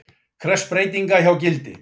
Krefst breytinga hjá Gildi